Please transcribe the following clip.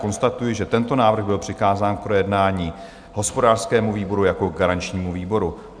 Konstatuji, že tento návrh byl přikázán k projednání hospodářskému výboru jako garančnímu výboru.